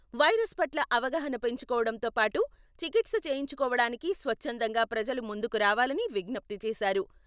Virus పట్ల అవగాహన పెంచుకోవడంతో పాటు, చికిత్స చేయించుకోవడానికి స్వచ్ఛందంగా ప్రజలు ముందుకు రావాలని విజ్ఞప్తి చేశారు.